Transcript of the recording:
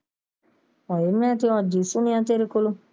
ਹਾਏ ਮੈਂ ਤੇ ਅੱਜ ਈ ਸੁਣਿਆ ਤੇਰੇ ਕੋਲੋਂ।